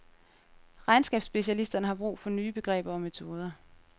Regnskabsspecialisterne har brug for nye begreber og metoder.